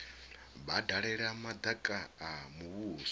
vha dalela madaka a muvhuso